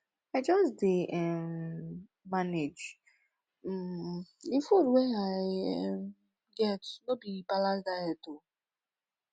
i just dey um manage um di food wey i um get e no be balanced diet o